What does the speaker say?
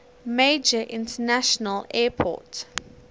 major international airport